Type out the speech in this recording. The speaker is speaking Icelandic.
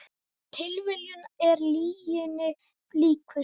Tilviljunin er lyginni líkust